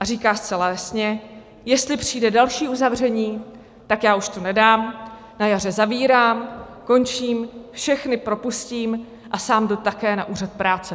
A říká zcela jasně: Jestli přijde další uzavření, tak já už to nedám, na jaře zavírám, končím, všechny propustím a sám jdu také na úřad práce.